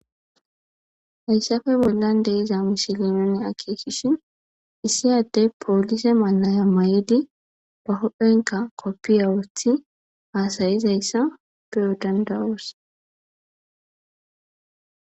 Haysape bolan diza missile issi adey police mayo maydi uphenka kopiye wotidi hasayizaysa be'os danda'os.